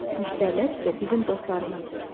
Müştərilər isə bizim dostlarımızdır.